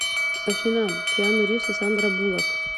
афина киану ривз и сандра булак